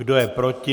Kdo je proti?